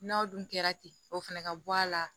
N'aw dun kɛra ten o fɛnɛ ka bɔ a la